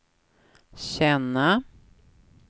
känna